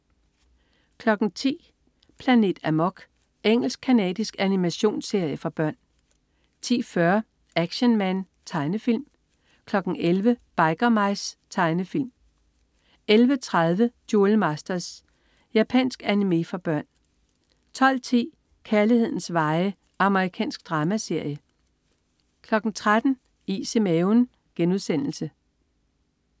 10.00 Planet Amok. Engelsk-canadisk animationsserie for børn 10.40 Action Man. Tegnefilm 11.00 Biker Mice. Tegnefilm 11.30 Duel Masters. Japansk animé for børn 12.10 Kærlighedens veje. Amerikansk dramaserie 13.00 Is i maven*